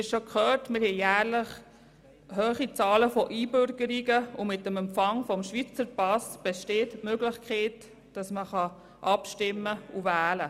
Wie wir schon gehört haben, haben wir jährlich eine hohe Zahl von Einbürgerungen, und mit dem Empfang eines Schweizer Passes geht die Möglichkeit einher, abzustimmen und zu wählen.